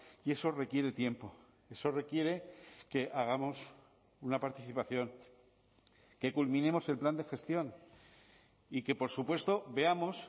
y eso requiere tiempo eso requiere que hagamos una participación que culminemos el plan de gestión y que por supuesto veamos